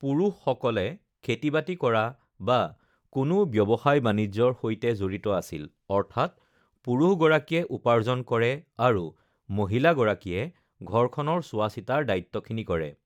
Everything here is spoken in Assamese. পুৰুষসকলে খেতি-বাতি কৰা বা কোনো ব্যৱসায়-বাণিজ্যৰ সৈতে জড়িত আছিল অৰ্থাৎ পুৰুষগৰাকীয়ে উপাৰ্জন কৰে আৰু মহিলাগৰাকীয়ে ঘৰখনৰ চোৱা-চিতাৰ দায়িত্বখিনি কৰে